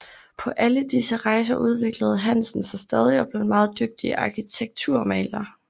På alle disse rejser udviklede Hansen sig stadig og blev en meget dygtig arkitekturmaler